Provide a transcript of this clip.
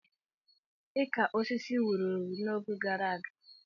Ịka osisi wuru ewu n'oge gara aga.